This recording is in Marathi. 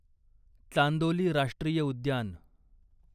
चांदोली राष्ट्रीय उद्यान